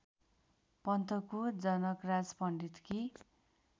पन्तको Janakraj पण्डितकी